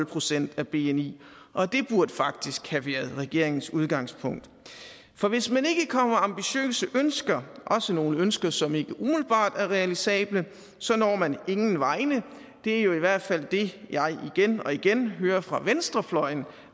procent af bni og det burde faktisk have været regeringens udgangspunkt for hvis man ikke kommer med ambitiøse ønsker også nogle ønsker som ikke umiddelbart er realisable så når man ingen vegne det er i hvert fald det jeg igen og igen hører fra venstrefløjen